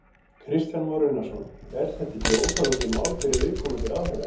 Kristján Már Unnarsson: Er þetta ekki óþolandi mál fyrir viðkomandi ráðherra?